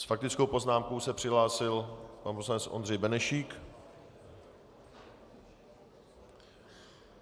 S faktickou poznámkou se přihlásil pan poslanec Ondřej Benešík.